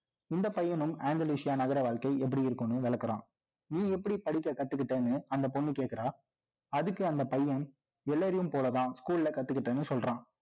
இந்தப் பையனும், Angalisia நகர வாழ்க்கை, எப்படி இருக்கும்னு விளக்கறான். நீ எப்படி படிக்கக் கத்துக்கிட்டேன்னு, அந்தப் பொண்ணு கேட்கிறா. அதுக்கு, அந்தப் பையன், எல்லாரையும் போலத்தான், school lல கத்துக்கிட்டேன்னு சொல்றான்